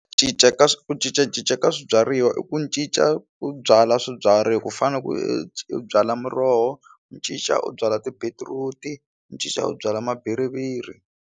Ku cinca ka ku cincacinca ka swibyariwa i ku ncinca ku byala swibyariwa ku fana na u byala muroho u cinca u byala tibetiruti u cinca u byala ma bhiriviri.